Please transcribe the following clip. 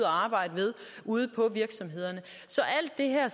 arbejde ved ude på virksomhederne så alt det her